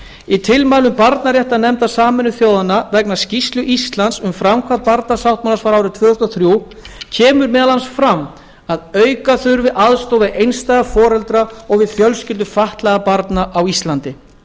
í tilmælum barnaréttarnefndar sameinuðu þjóðanna vegna skýrslu íslands um framkvæmd barnasáttmálans frá tvö þúsund og þrjú kemur meðal annars fram að auka þurfi aðstoð við einstæða foreldra og við fjölskyldur fatlaðra barna á íslandi